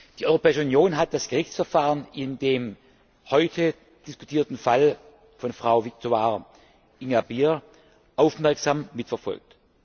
Die Europäische Union hat das Gerichtsverfahren in dem heute diskutierten Fall von Frau Victoire Ingabire aufmerksam mitverfolgt.